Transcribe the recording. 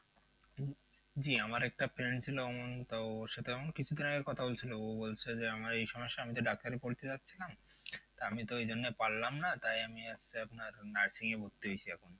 জি আমার একটা friend ছিল ওমন তা ওর সাথে আমার কিছুদিন আগে কথা হয়েছিল ও বলছে যে আমার এই সমস্যা আমি তো ডাক্তারি পড়তে যাচ্ছিলাম তা আমি তো এইজন্য পারলাম না তাই আমি আজকে আপনার nursing ভর্তি হয়েছি এখন